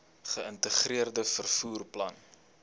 geïntegreerde vervoer plan